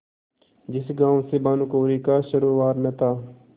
जिस गॉँव से भानुकुँवरि का सरोवार न था